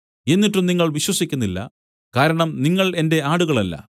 എന്നിട്ടും നിങ്ങൾ വിശ്വസിക്കുന്നില്ല കാരണം നിങ്ങൾ എന്റെ ആടുകളല്ല